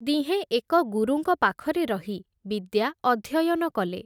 ଦିହେଁ ଏକ ଗୁରୁଙ୍କ ପାଖରେ ରହି, ବିଦ୍ୟା ଅଧ୍ୟୟନ କଲେ ।